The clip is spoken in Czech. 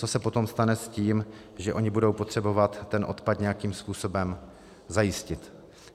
Co se potom stane s tím, že oni budou potřebovat ten odpad nějakým způsobem zajistit?